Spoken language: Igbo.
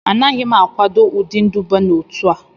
Anaghị m akwado ụdị nduba n'otu a